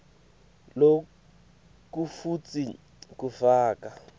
loku futsi kufaka